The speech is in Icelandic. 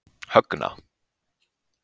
Högna